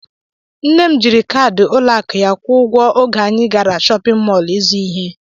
Nne m jiri kaadị ụlọakụ ya kwụọ ụgwọ oge anyị gara shọpịn mọl ịzụ ihe